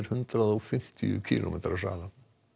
hundrað og fimmtíu kílómetra hraða